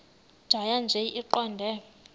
tjhaya nje iqondee